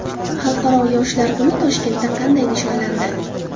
Xalqaro yoshlar kuni Toshkentda qanday nishonlandi?